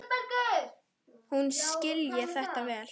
Hún skilji þetta vel.